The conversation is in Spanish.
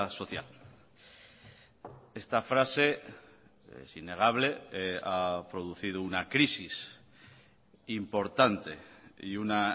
social esta frase es innegable ha producido una crisis importante y una